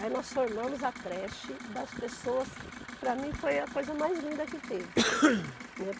Aí nós formamos a creche das pessoas, para mim foi a coisa mais linda que teve, né.